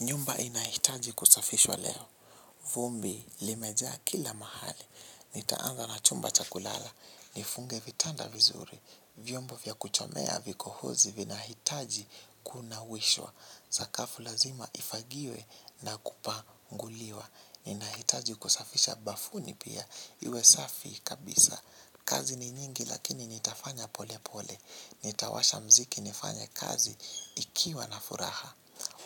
Nyumba inahitaji kusafishwa leo. Vumbi limejaa kila mahali. Nitaanza na chumba cha kulala. Nifunge vitanda vizuri. Vyombo vya kuchomea vikohozi vinahitaji kunawishwa. Sakafu lazima ifagiwe na kupanguliwa. Inahitaji kusafisha bafuni pia iwe safi kabisa. Kazi ni nyingi lakini nitafanya pole pole. Nitawasha mziki nifanya kazi ikiwa na furaha.